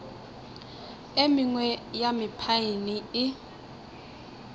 e mengwe ya mephaene e